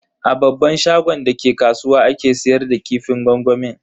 A babban shagon da ke kasuwa ake siyar da kifin gwangwamin.